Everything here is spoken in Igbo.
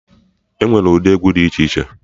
Enwere ụdị egwu dị iche iche